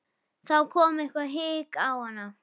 Þá kom eitthvert hik á hana.